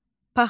Paxlava.